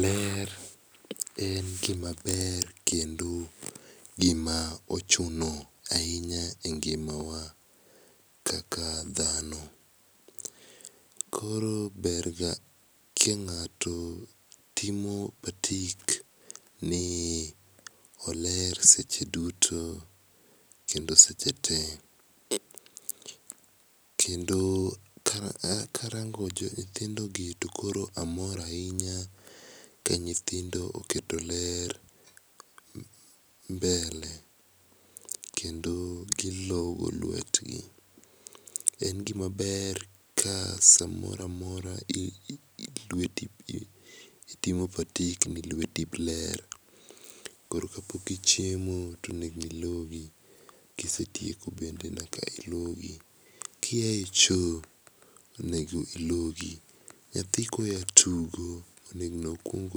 Ler en gi ma ber kendo gi ma ochuno ainya e ngima kaka dhano .Kro ber ka ngato timo patik ni oler seche duto kendo seche tee. kendo akarando jogi nyithindo gi to kor amor ainya ka nyithindo oketo ler mbele kendo gi logo lwet gi. En gi ma ber ka saa moro in gi lweti itimo patik ni kweyti ler. Koor ka po ni ichiemo to onego ilogo kisteieko bende nyaka ilogi ,ki iya e choo onego ilogi, nyathi ka oya tugo onegno okuong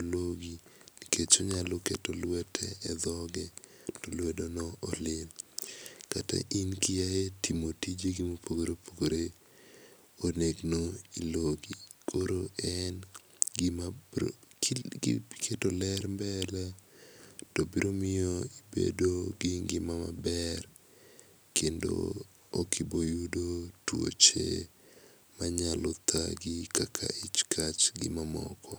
ologi nikech onyalo keto lwete e dhoge to lwete no olul .kata in ki aye timo tije ni mo opogore opgoreonegno ilogi. kro en gi ma ber ki iketo ler mbele to obiro miyo bed gi mgimamma ber kedo ok ibo yudo tuoche ma nyalo thagfi kakak ich kach gi ma moko.